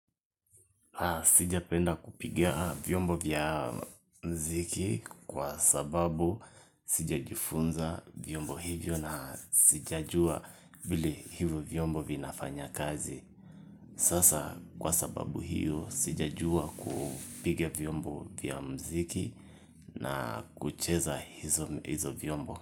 Sijapenda kupiga vyombo vya muziki kwa sababu sijajifunza vyombo hivyo na sijajua vile hivyo vyombo vinafanya kazi sasa kwa sababu hiyo sijajua kupiga vyombo vya muziki na kucheza hizo vyombo.